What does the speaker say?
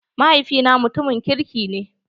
Mahaifi na mutumin kirki ne.